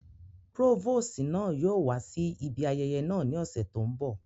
Próvòsi náa yóò wa si ibi ayẹyẹ náa ni ọsẹ to nbọ.